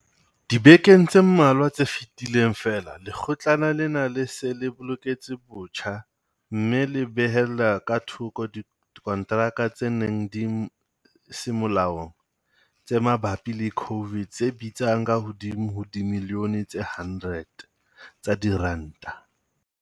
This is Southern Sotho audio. Dibekeng tse mmalwa tse fetileng feela. Lekgotlana lena le se le lekotse botjha mme la behella ka thoko dikonteraka tse neng di se molaong tse mabapi le COVID tse bitsang ka hodimo ho dimilione tse 100 tsa diranta.